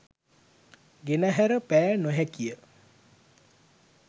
ගෙනහැර පෑ නොහැකිය